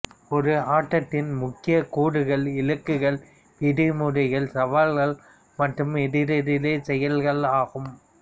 ஓர் ஆட்டத்தின் முக்கிய கூறுகள் இலக்குகள் விதிமுறைகள் சவால்கள் மற்றும் எதிரெதிர்ச் செயல்கள் ஆகும்